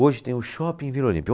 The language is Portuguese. Hoje tem o Shopping Vila Olímpia.